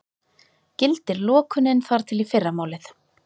Gildir lokunin þar til í fyrramálið